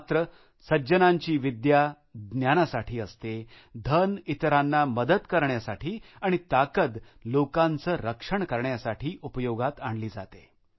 मात्र सज्जनांची विद्या ज्ञानासाठी असते धन इतरांना मदत करण्यासाठी आणि ताकद लोकांचं रक्षण करण्यासाठी उपयोगात आणली जाते